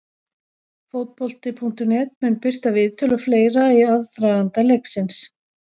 Fótbolti.net mun birta viðtöl og fleira í aðdraganda leiksins.